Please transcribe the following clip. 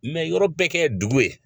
Mɛ yɔrɔ bɛɛ kɛ dugu ye